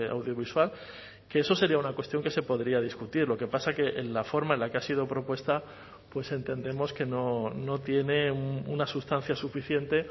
audiovisual que eso sería una cuestión que se podría discutir lo que pasa es que la forma en la que ha sido propuesta pues entendemos que no tiene una sustancia suficiente